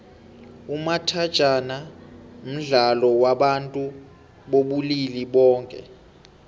umathajhana mdlalo wabantu bobulili boke